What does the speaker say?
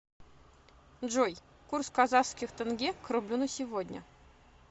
джой курс казахских тенге к рублю на сегодня